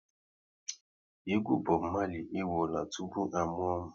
Egwu Bob Marley e wụọla tupu a mụọ m